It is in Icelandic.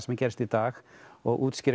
gerast í dag og útskýrir